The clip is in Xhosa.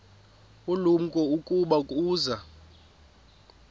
ulumko ukuba uza